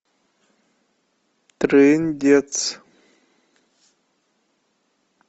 трындец